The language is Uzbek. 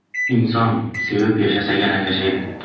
Inson sevib yashasagina yashaydi.